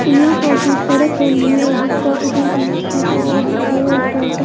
जिसका institute of aeronautic --